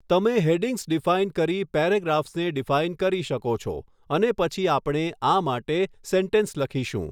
તમે headings define કરી પેરેગ્રાફસને ડીફાઇન કરી શકો છો અને પછી આપણે આ માટે સેન્ટેન્સ લખીશું.